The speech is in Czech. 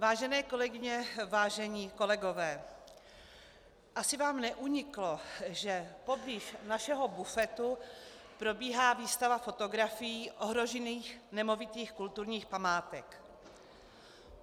Vážené kolegyně, vážení kolegové, asi vám neuniklo, že poblíž našeho bufetu probíhá výstava fotografií ohrožených nemovitých kulturních památek.